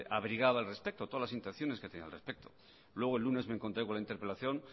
abrigaba al respecto luego el lunes me encontré con la interpelación